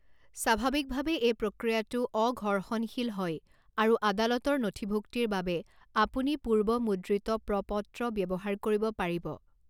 স্বাভাৱিকভাৱে এই প্ৰক্ৰিয়াটো অঘৰ্ষণশীল হয় আৰু আদালতৰ নথিভুক্তিৰ বাবে আপুনি পূৰ্বমুদ্ৰিত প্ৰ পত্ৰ ব্যৱহাৰ কৰিব পাৰিব।